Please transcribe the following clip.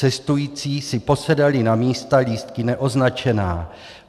Cestující si posedali na místa lístky neoznačená.